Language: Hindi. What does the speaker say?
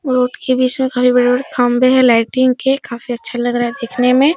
रोड के बीच में खाली बड़े-बड़े खम्भे हैं लाइटिंग के काफी अच्छा लग रहा है देखने में |